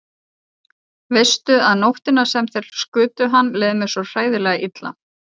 Veistu að nóttina sem þeir skutu hann leið mér svo hræðilega illa.